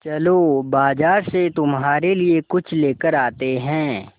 चलो बाज़ार से तुम्हारे लिए कुछ लेकर आते हैं